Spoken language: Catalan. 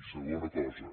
i segona cosa